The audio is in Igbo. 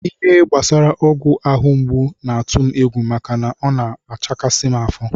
Ihe gbasara ọgwụ ahụ mgbu na-atụ m egwu maka na ọ na-achakasị m afọ